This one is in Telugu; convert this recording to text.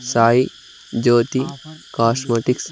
సాయి జ్యోతి కస్మోటిక్స్.